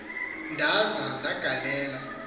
ndaza ke ndagalela